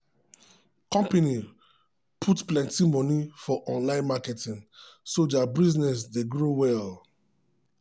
company put plenty moni for online marketing so their business dey grow well.